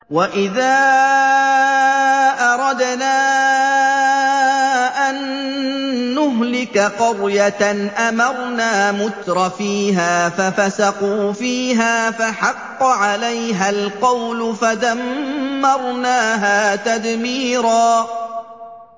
وَإِذَا أَرَدْنَا أَن نُّهْلِكَ قَرْيَةً أَمَرْنَا مُتْرَفِيهَا فَفَسَقُوا فِيهَا فَحَقَّ عَلَيْهَا الْقَوْلُ فَدَمَّرْنَاهَا تَدْمِيرًا